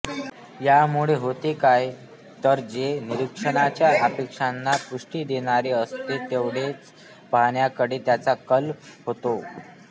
यामुळे होते काय तर जे निरीक्षकाच्या अपेक्षांना पुष्टी देणारे असते तेवढेच पाहण्याकडे त्याचा कल होतो